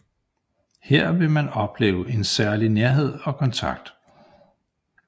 Her vil man opleve en særlig nærhed og kontakt